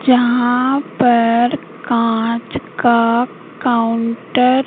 जहां पर कांच का काउंटर --